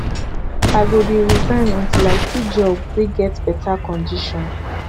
i go dey resign until i see job wey get beta conditions